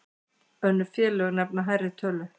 Önnur félög nefna hærri tölu.